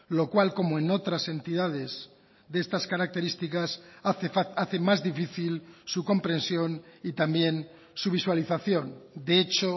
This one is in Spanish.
lo cual como en otras entidades de estas características hace más difícil su comprensión y también su visualización de hecho